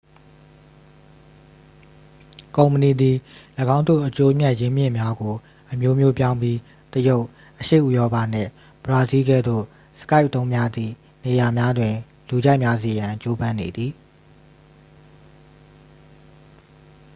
ကုမ္ပဏီသည် ၎င်းတို့ အကျိုးအမြတ် ရင်းမြစ်များကို အမျိုးမျိုးပြောင်းပြီး တရုတ် အရှေ့ဥရောပနှင့် ဘရာဇီးလ်ကဲ့သို့ skype အသုံးများသည့် နေရာများတွင် လူကြိုက်များစေရန် ကြိုးပမ်းနေသည်